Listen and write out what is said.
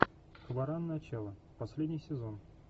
хваран начало последний сезон